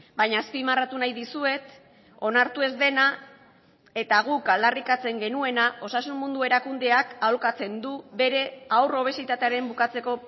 baina azpimarratu nahi dizuet onartu ez dena eta guk aldarrikatzen genuena osasun mundu erakundeak aholkatzen du bere haur obesitatearen bukatzeko